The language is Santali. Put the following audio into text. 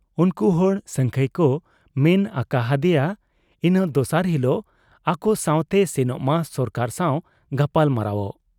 ᱩᱱᱠᱩ ᱦᱚᱲ ᱥᱟᱹᱝᱠᱷᱟᱹᱭ ᱠᱚ ᱢᱮᱱ ᱟᱠᱟ ᱦᱟᱫᱮᱭᱟ ᱤᱱᱟᱹ ᱫᱚᱥᱟᱨ ᱦᱤᱞᱚᱜ ᱟᱠᱚᱥᱟᱶᱛᱮᱭ ᱥᱮᱱᱚᱜ ᱢᱟ ᱥᱚᱨᱠᱟᱨ ᱥᱟᱶ ᱜᱟᱯᱟᱞᱢᱟᱨᱟᱣᱜ ᱾